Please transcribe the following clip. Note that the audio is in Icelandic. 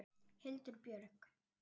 Hildur Björg.